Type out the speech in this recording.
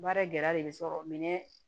Baara gɛlɛya de sɔrɔ minɛn